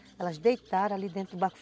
Elas deitaram ali dentro do barco.